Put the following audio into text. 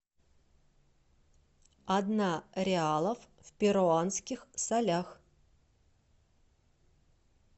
одна реалов в перуанских солях